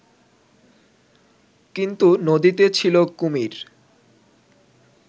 কিন্তু নদীতে ছিল কুমির